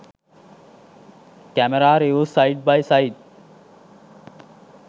camera reviews side by side